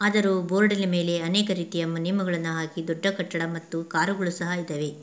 ಅದರು board ನ ಮೇಲೆ ಅನೇಕ ನಿಯಮಗಳನ್ನು ಹಾಕಿ ದೊಡ್ಡ ಕಟ್ಟಡ ಮತ್ತು ಕಾರು ಗಳು ಸಹ ಇದಾವೆ.